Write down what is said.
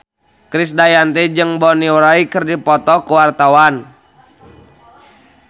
Krisdayanti jeung Bonnie Wright keur dipoto ku wartawan